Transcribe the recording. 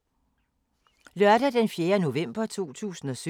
Lørdag d. 4. november 2017